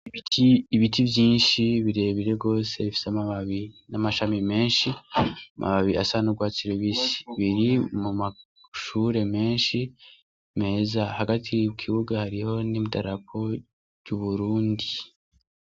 Ibiti vyinshi birebire gose bifise amababi namashami menshi amababi asa nurwatsi rubisi biri mumashure menshi meza hagati mukibuga hariho nidarapo ryuburundi